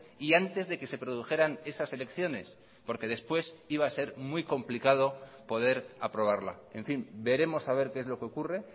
y antes de que se produjeran esas elecciones porque después iba a ser muy complicado poder aprobarla en fin veremos a ver qué es lo que ocurre